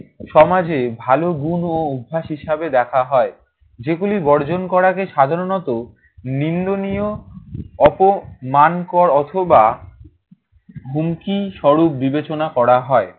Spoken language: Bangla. সমাজে ভালো গুণ ও অভ্যাস হিসেবে দেখা হয়। যেগুলি বর্জন করাকে সাধারণত নিন্দনীয়, অপমানকর অথবা হুমকিস্বরূপ বিবেচনা করা হয়।